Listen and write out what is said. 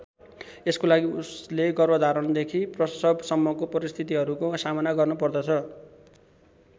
यसको लागि उसले गर्भधारणदेखि प्रसवसम्मको परिस्थितिहरूको सामना गर्नुपर्दछ।